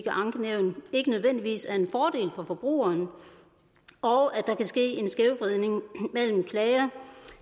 ankenævn ikke nødvendigvis er en fordel for forbrugeren og at der kan ske en skævvridning mellem klager